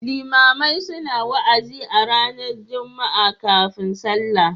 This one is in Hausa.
Limamai suna wa'azi a ranar Juma'a kafin sallah.